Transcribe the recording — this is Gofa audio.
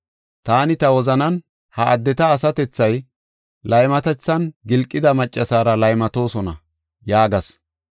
Taani ta wozanan, “Ha addeti asatethay laymatethan gilqida maccaseera laymatoosona” yaagas.